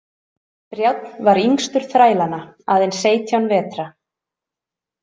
Brjánn var yngstur þrælanna, aðeins seytján vetra.